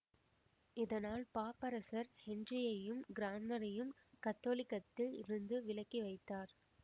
இதனால் பாப்பரசர் ஹென்றியையும் கிரான்மரையும் கத்தோலிக்கத்தில் இருந்து விலக்கி வைத்தார்